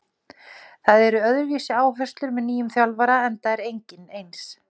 Það eru öðruvísi áherslur með nýjum þjálfara enda er enginn eins.